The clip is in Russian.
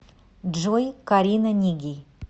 джой карина нигей